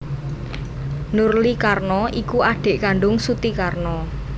Nurly Karno iku adhik kandung Suti Karno